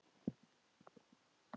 Hvernig hefur Sif það?